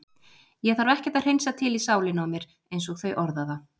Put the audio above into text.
Ég þarf ekkert að hreinsa til í sálinni á mér einsog þau orða það.